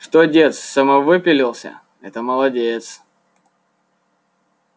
что дед самовыпилился это молодец